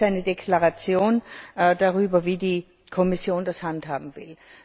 Das ist jetzt eine Deklaration darüber, wie die Kommission das handhaben will.